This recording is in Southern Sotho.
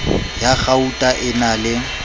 ya kgauta e na le